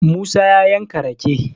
musa ya yanka rake